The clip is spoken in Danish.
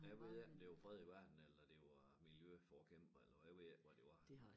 Jeg ved ikke om det var fred i verden eller det var miljøforkæmper eller hvad jeg ved ikke hvad det var